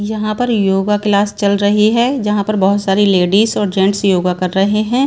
यहां पर yoga class चल रही है जहां पर बहुत सारी लेडीज और जेंट्स योगा कर रहे हैं।